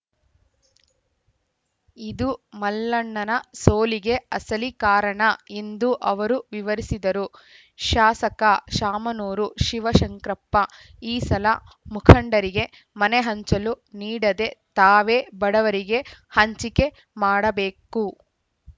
ಇದು ಮಲ್ಲಣ್ಣನ ಸೋಲಿಗೆ ಅಸಲಿ ಕಾರಣ ಎಂದು ಅವರು ವಿವರಿಸಿದರು ಶಾಸಕ ಶಾಮನೂರು ಶಿವಶಂಕರಪ್ಪ ಈ ಸಲ ಮುಖಂಡರಿಗೆ ಮನೆ ಹಂಚಲು ನೀಡದೇ ತಾವೇ ಬಡವರಿಗೆ ಹಂಚಿಕೆ ಮಾಡಬೇಕು